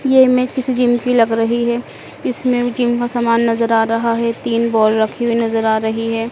ये इमेज़ किसी जिम की लग रहीं हैं। इसमें जिम का समान नजर आ रहा हैं। तीन बॉल रखीं हुई नजर आ रहीं हैं।